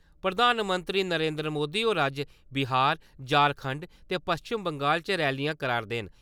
प्रधानमंत्री नरेन्द्र मोदी होर अज्ज बिहार, झारखंड ते पच्छम बंगाल च रैलियां करै‘रदे न।